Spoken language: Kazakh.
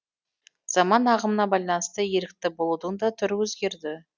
заман ағымына байланысты ерікті болудың да түрі өзгерді